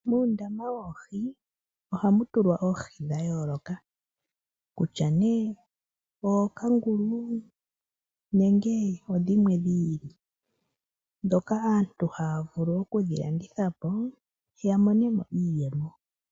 Muundama woohi ohamutulwa oohi dhayooloka kutya ne ookangulu nenge odhimwe dhi ili, dhoka aantu haya vulu okudhilanditha po yamonemo iiyemo.